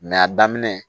a daminɛ